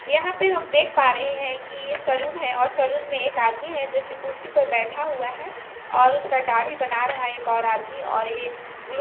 यहाँ पे हम देख पा रहे हैं कि ये सलून है और सैलुन में एक आदमी है जो कि कुर्सी पर बैठा हुआ है और उसका दाढ़ी बना रहा है एक और आदमी और ये ब्लू --